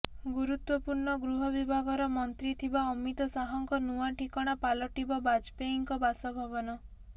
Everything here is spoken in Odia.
ଗୁୁରୁତ୍ୱପୂର୍ଣ୍ଣ ଗୃହ ବିଭାଗର ମନ୍ତ୍ରୀ ଥିବା ଅମିତ ଶାହାଙ୍କ ନୂଆ ଠିକଣା ପାଲଟିବ ବାଜପେୟୀଙ୍କ ବାସଭବନ